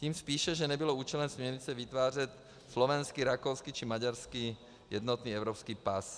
Tím spíše, že nebylo účelem směrnice vytvářet slovenský, rakouský či maďarský jednotný evropský pas.